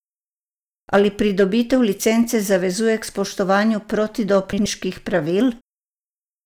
Ali pridobitev licence zavezuje k spoštovanju protidopinških pravil?